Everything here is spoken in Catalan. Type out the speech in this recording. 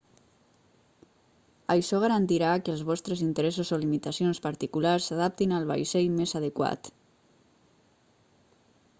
això garantirà que els vostres interessos o limitacions particulars s'adaptin al vaixell més adequat